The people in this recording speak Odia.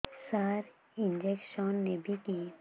ସାର ଇଂଜେକସନ ନେବିକି